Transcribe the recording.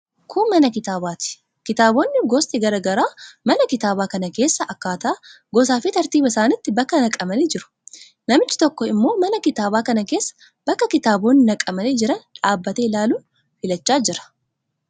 Kun mana kitaabaati. Kitaabonni gosti garaa garaa mana kitaabaa kana keessa akkaataa gosaafi tartiiba isaaniitti bakka naqamanii jiru. Namichi tokko immoo mana kitaabaa kana keessaa bakka kitaabonni naqamanii jiran dhaabbatee ilaaluun filachaa jira.